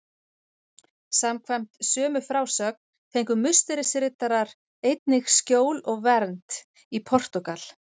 Samkvæmt sömu frásögn fengu Musterisriddarar einnig skjól og vernd í Portúgal.